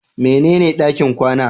Mene ne ɗakin kwana?